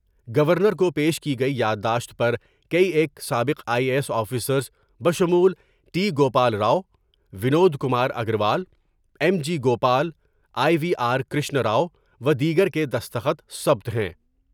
Governor کو پیش کی گئی یادداشت پر کئی ایک سابق آئی اے ایس آفیسرس بشمول T Gopal Rao, Vinod Kumar Agarwal, M G Gopal, I V R Krishnarao و دیگر کے دستخط ثبت ہیں ۔